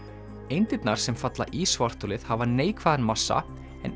eindirnar sem falla í svartholið hafa neikvæðan massa en